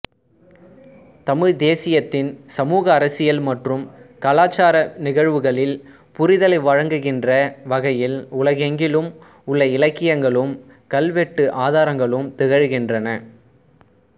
தமிழ் தேசியத்தின் சமூகஅரசியல் மற்றும் கலாச்சார நிகழ்வுகளில் புரிதலை வழங்குகின்ற வகையில் உலகெங்கிலும் உள்ள இலக்கியங்களும் கல்வெட்டு ஆதாரங்களும் திகழ்கின்றன